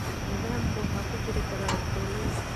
Nidaamka waxaa ku jiri kara dulin.